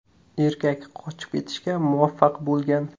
Erkak qochib ketishga muvaffaq bo‘lgan.